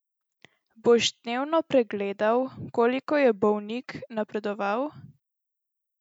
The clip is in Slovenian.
Boš dnevno pregledal, koliko je bolnik napredoval?